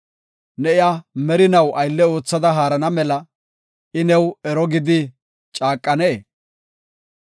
Ne iya merinaw aylle oothada haarana mela, I new ero gidi caaqanee?